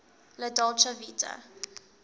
la dolce vita